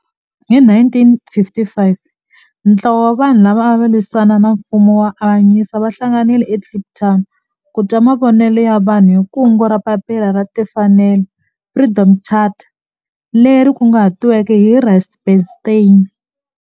Hi 1955 ntlawa wa vanhu lava ava lwisana na nfumo wa avanyiso va hlanganile eKliptown ku twa mavonelo ya vanhu hi kungu ra Papila ra Tinfanelo Freedom Charter leri kunguhatiweke hi Rusty Bernstein.